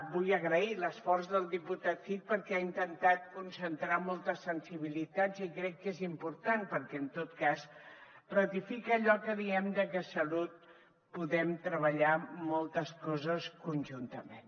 vull agrair l’esforç del diputat cid perquè ha intentat concentrar moltes sensibilitats i crec que és important perquè en tot cas ratifica allò que diem de que a salut podem treballar moltes coses conjuntament